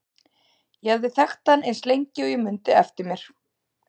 Ég hafði þekkt hann eins lengi og ég mundi eftir mér.